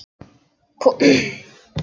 Þeir eru búnir að ljúka sínu ætlunarverki.